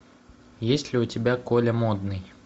есть ли у тебя коля модный